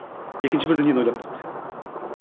екінші бір дүниені ойлап тапты